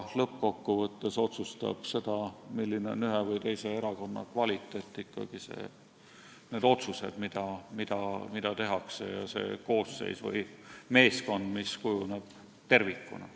Lõppkokkuvõttes otsustavad aga selle, milline on ühe või teise erakonna kvaliteet, ikkagi need otsused, mida tehakse, ja see koosseis või meeskond, mis kujuneb tervikuna.